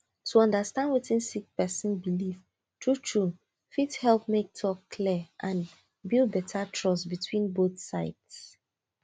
to understand wetin sick person believe true true fit help make talk clear and build better trust between both sides